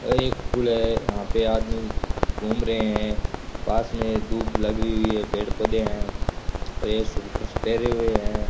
अरे एक पुल है यहां पे आदमी घूम रहे हैं पास में दूब लगी हुई है पेड़ पौधे हैं और ये सूट ड्रेस पहने हुए हैं।